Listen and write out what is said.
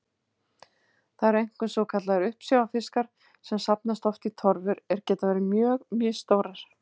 Það eru einkum svokallaðir uppsjávarfiskar sem safnast oft í torfur er geta verið mjög misstórar.